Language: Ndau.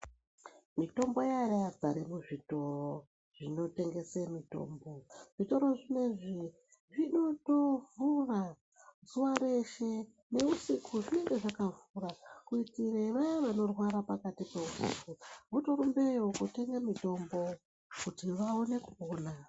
mitombo iya yazare muzvitoro zvinotengese mitombo zvitoro zvinozvi zvinotovhura zuva reshe neusiku zvinonge zvakavhura kuitira vaye vanorwara pakati peusiki votorumbeyo kotenge mitombo kuti vaone kupona .